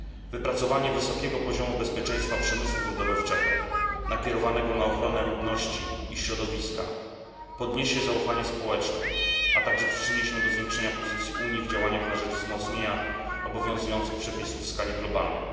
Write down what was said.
Wypracowanie wysokiego poziomu bezpieczeństwa przemysłu wydobywczego nakierowanego na ochronę ludności i środowiska podniesie zaufanie społeczne, a także przyczyni się do zwiększenia pozycji Unii w działaniach na rzecz wzmocnienia obowiązujących przepisów w skali globalnej.